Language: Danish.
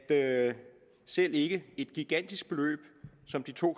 at selv ikke et gigantisk beløb som de to